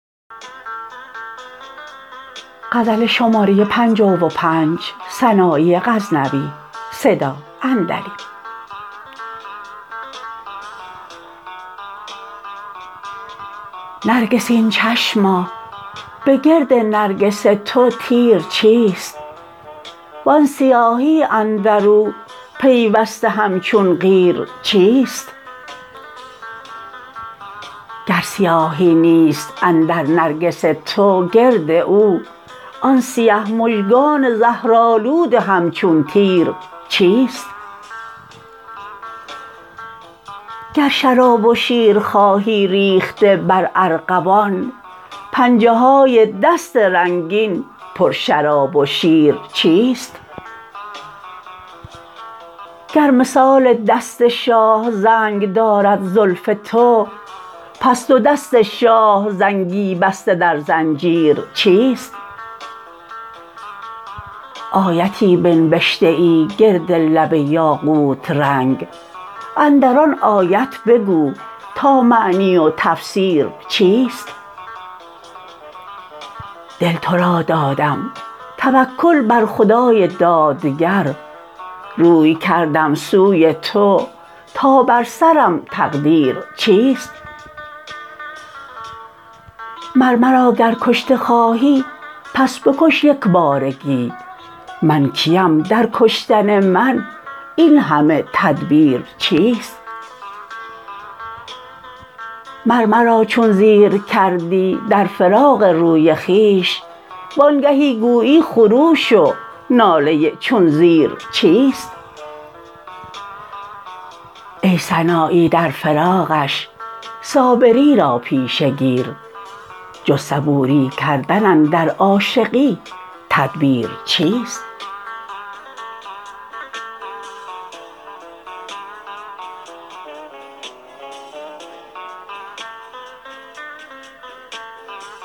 نرگسین چشما به گرد نرگس تو تیر چیست وان سیاهی اندرو پیوسته همچون قیر چیست گر سیاهی نیست اندر نرگس تو گرد او آن سیه مژگان زهرآلود همچون تیر چیست گر شراب و شیر خواهی ریخته بر ارغوان پنجه های دست رنگین پر شراب و شیر چیست گر مثال دست شاه زنگ دارد زلف تو پس دو دست شاه زنگی بسته در زنجیر چیست آیتی بنبشته ای گرد لب یاقوت رنگ اندر آن آیت بگو تا معنی و تفسیر چیست دل تو را دادم توکل بر خدای دادگر روی کردم سوی تو تا بر سرم تقدیر چیست مر مرا گر کشته خواهی پس بکش یکبارگی من کیم در کشتن من این همه تدبیر چیست مر مرا چون زیر کردی در فراق روی خویش وانگهی گویی خروش و ناله چون زیر چیست ای سنایی در فراقش صابری را پیشه گیر جز صبوری کردن اندر عاشقی تدبیر چیست